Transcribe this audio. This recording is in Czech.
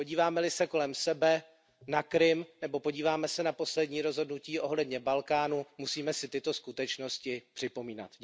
Podíváme li se kolem sebe, na Krym, nebo podíváme li se na poslední rozhodnutí ohledně Balkánu, musíme si tyto skutečnosti připomínat.